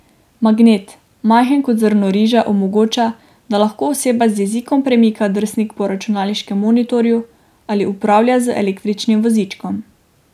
Magnet, majhen kot zrno riža, omogoča, da lahko oseba z jezikom premika drsnik po računalniškem monitorju ali upravlja z električnim vozičkom.